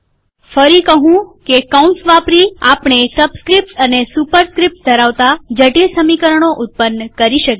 ફરી કહું કે કૌંસ વાપરી આપણે સબસ્ક્રીપ્ટ્સ અને સુપરસ્ક્રીપ્ટ્સ ધરાવતા જટિલ સમીકરણો ઉત્પન્ન કરી શકીએ